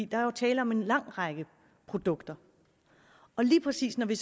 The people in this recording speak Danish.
der er jo tale om en lang række produkter lige præcis når vi